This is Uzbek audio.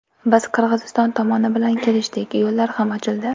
Biz Qirg‘iziston tomoni bilan kelishdik, yo‘llar ham ochildi.